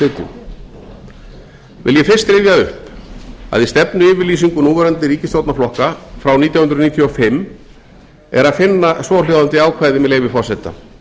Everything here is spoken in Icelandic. vil ég fyrst rifja upp að í stefnuyfirlýsingu núverandi ríkisstjórnarflokka frá nítján hundruð níutíu og fimm er að finna svohljóðandi ákvæði með leyfi forseta